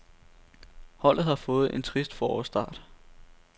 Holdet har fået en trist forårsstart.